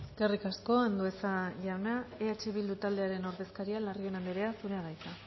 eskerrik asko andueza jauna eh bildu taldearen ordezkaria larrion andrea zurea da hitza